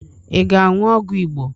Ị ga-aṅụ ọgwụ Igbo?